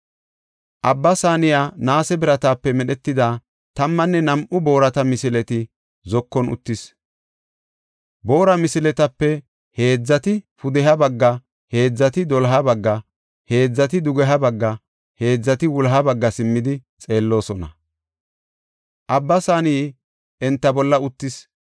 Abba Saaney naase biratape medhetida tammanne nam7u boorata misileta zokuwan uttis. Boora misiletape heedzati pudeha bagga, heedzati doloha bagga, heedzati dugeha bagga, heedzati wuloha bagga simmidi xeelloosona. Abba Saaney enta bolla uttis.